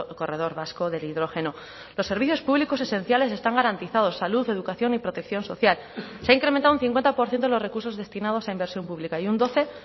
corredor vasco del hidrógeno los servicios públicos esenciales están garantizados salud educación y protección social se ha incrementado un cincuenta por ciento de los recursos destinados a inversión pública y un doce